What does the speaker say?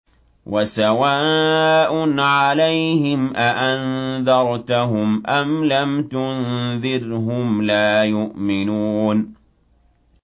وَسَوَاءٌ عَلَيْهِمْ أَأَنذَرْتَهُمْ أَمْ لَمْ تُنذِرْهُمْ لَا يُؤْمِنُونَ